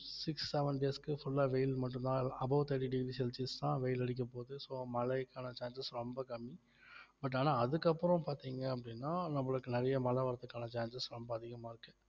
six seven days க்கு full ஆ வெயில் மட்டும் தான் above thirty degree celsius தான் வெயில் அடிக்கப்போகுது so மழைக்கான chances ரொம்ப கம்மி but ஆனா அதுக்கு அப்புறம் பாத்தீங்க அப்படின்னா நம்மளுக்கு நிறைய மழை வர்றதுக்கான chances ரொம்ப அதிகமா இருக்கு